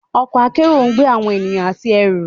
Ọkọ̀ akẹ́rù ńgbé awọn ènìyàn àti ẹrù.